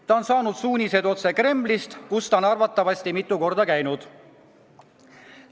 Ta on saanud suuniseid otse Kremlist, kus ta on arvatavasti mitu korda käinud.